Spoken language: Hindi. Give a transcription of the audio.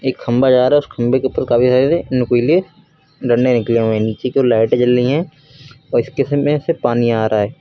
एक खंभा जा रहा है उस खंभे के ऊपर काफी सारे नुकीले डंडे निकले हुए हैं नीचे कि ओर लाइटें जल रही हैं और इसके अंदर से पानी आ रहा है।